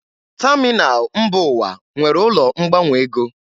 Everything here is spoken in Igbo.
Tamịnal mba ụwa nwere ụlọ ngbanwe ego.